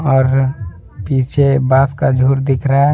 और पीछे बांस का झुर दिख रहा है।